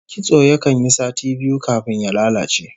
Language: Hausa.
Kitso yakan yi sati biyu kafin ya lalace